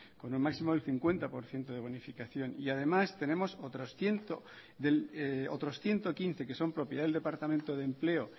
con un máximo del cincuenta por ciento de bonificación y además tenemos otros ciento quince que son propiedad del departamento de empleo